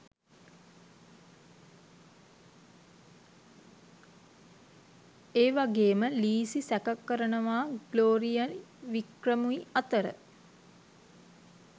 ඒවගේම ලීසි සැකකරනවා ග්ලෝරියයි වික්‍රමුයි අතර